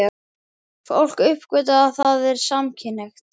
Fólk uppgötvar að það er samkynhneigt.